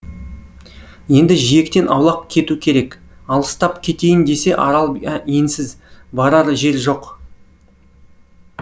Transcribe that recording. енді жиектен аулақ кету керек алыстап кетейін десе арал енсіз барар жер жоқ